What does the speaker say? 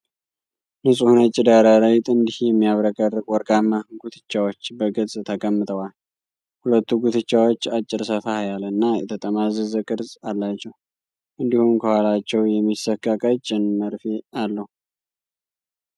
ንጹህ ነጭ ዳራ ላይ ጥንድ የሚያብረቀርቅ ወርቃማ ጉትቻዎች በግልጽ ተቀምጠዋል። ሁለቱም ጉትቻዎች አጭር፣ ሰፋ ያለ እና የተጠማዘዘ ቅርጽ አላቸው፤ እንዲሁም ከኋላቸው የሚሰካ ቀጭን መርፌ አለው።